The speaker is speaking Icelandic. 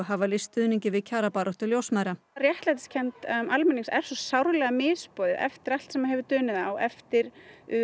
hafa lýst stuðningi við kjarabaráttu ljósmæðra réttlætiskennd almennings er svo sárlega misboðið eftir allt sem hefur dunið á eftir